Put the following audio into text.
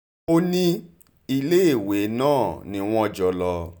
ó ní iléèwé náà ni wọ́n jọ lọ